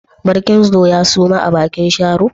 Barkindo ya suma a bikin Sharo?